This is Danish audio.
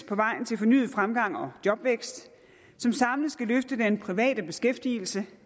på vejen til fornyet fremgang og jobvækst som samlet skal løfte den private beskæftigelse